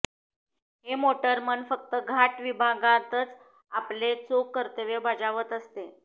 हे मोटरमन फक्त घाट विभागांतच आपले चोख कर्तव्य बजावत असते